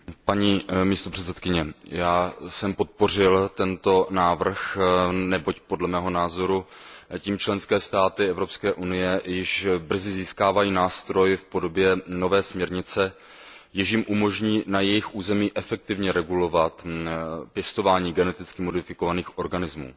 Paní předsedající, já jsem podpořil tento návrh, neboť podle mého názoru tím členské státy Evropské unie již brzy získají nástroj v podobě nové směrnice, jež jim umožní na jejich území efektivně regulovat pěstování geneticky modifikovaných organismů.